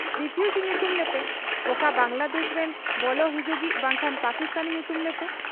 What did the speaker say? Refugee ᱧᱩᱛᱩᱢ ᱞᱮᱯᱮ ᱾ ᱚᱠᱟ ᱵᱟᱝᱞᱟᱫᱮᱥ ᱨᱤᱱ ᱵᱚᱞᱚ ᱦᱤᱡᱩᱜᱤᱡ ᱵᱟᱝᱠᱷᱟᱱ ᱯᱟᱠᱤᱥᱛᱟᱱᱤ ᱧᱩᱛᱩᱢ ᱞᱮᱯᱮ ᱾